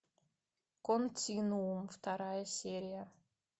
континуум вторая серия